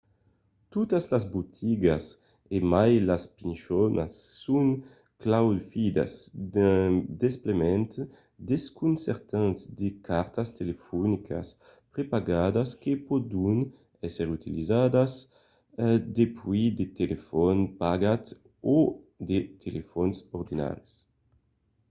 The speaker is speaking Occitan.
totas las botigas e mai las pichonas son claufidas d'un desplegament desconcertant de cartas telefonicas prepagadas que pòdon èsser utilizadas dempuèi de telefòns de pagament o de telefòns ordinaris